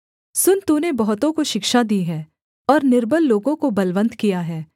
सुन तूने बहुतों को शिक्षा दी है और निर्बल लोगों को बलवन्त किया है